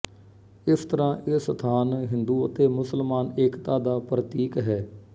ਇਸ ਤਰ੍ਹਾਂ ਇਹ ਸਥਾਨ ਹਿੰਦੂ ਅਤੇ ਮੁਸਲਮਾਨ ਏਕਤਾ ਦਾ ਪ੍ਰਤੀਕ ਹੈ